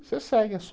Você segue, é só